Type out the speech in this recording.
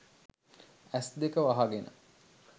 ඇස්දෙක වහගෙන